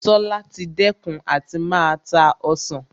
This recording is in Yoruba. Tola ti dẹ́kun àti máa ta Ọsàn